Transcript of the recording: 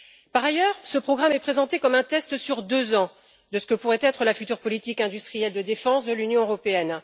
Par ailleurs, ce programme est présenté comme un test, sur deux ans, de ce que pourrait être la future politique industrielle de défense de l'Union européenne.